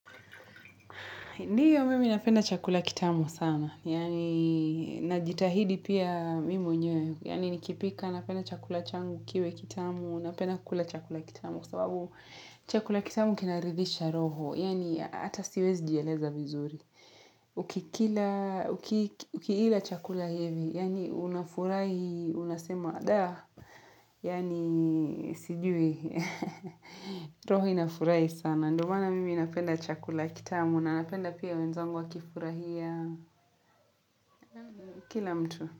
Ndio mimi napenda chakula kitamu sana, yaani najitahidi pia mi mwenyewe, yaani nikipika napenda chakula changu kiwe kitamu, napenda kukula chakula kitamu kwa sababu chakula kitamu kinaridhisha roho, yaani hata siwezi jieleza vizuri. Ukikila, ukiila chakula hivi Yaani unafurahi, unasema dah Yani sijui roho inafurahi sana Ndio maana mimi napenda chakula kitamu na napenda pia wenzangu wakifurahia Kila mtu.